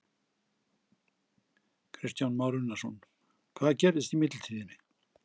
Kristján Már Unnarsson: Hvað gerðist í millitíðinni?